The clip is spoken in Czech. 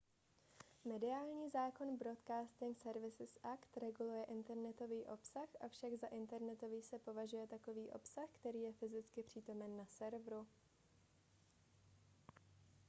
mediální zákon broadcasting services act reguluje internetový obsah avšak za internetový se považuje takový obsah který je fyzicky přítomen na serveru